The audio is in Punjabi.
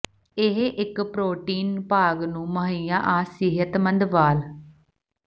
ਇਹ ਇੱਕ ਪ੍ਰੋਟੀਨ ਭਾਗ ਨੂੰ ਮੁਹੱਈਆ ਆ ਸਿਹਤਮੰਦ ਵਾਲ